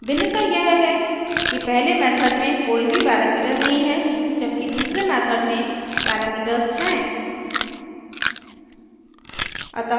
भिन्नता यह है कि पहले method में कोई भी पैरामीटर नहीं है जबकि दूसरे method में parameters हैं